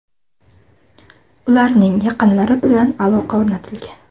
Ularning yaqinlari bilan aloqa o‘rnatilgan”.